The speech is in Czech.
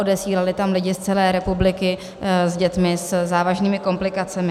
Odesílali tam lidi z celé republiky s dětmi se závažnými komplikacemi.